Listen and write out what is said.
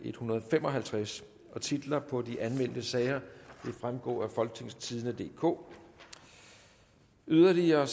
en hundrede og fem og halvtreds titler på de anmeldte sager vil fremgå af folketingstidende DK yderligere